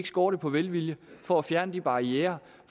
skorte på velvilje for at fjerne barrierer